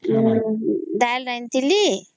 ଡ଼ାଲି ରାନ୍ଧିଥିଲି